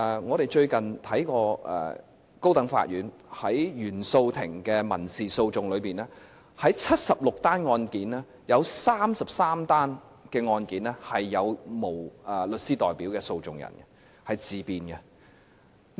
我們最近看過高等法院原訟法庭的民事訴訟案件，在76宗案件當中，有33宗是沒有律師代表的訴訟人，他們是自辯的。